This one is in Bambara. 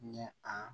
Ni a